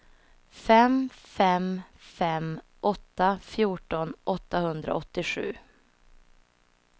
fem fem fem åtta fjorton åttahundraåttiosju